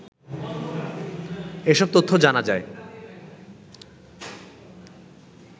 এসব তথ্য জানা যায়